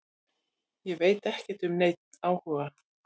Ég veit ekkert um neinn áhuga.